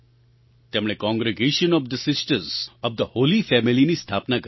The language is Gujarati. તેમણે congregation of the sisters of the holy familyની સ્થાપના કરી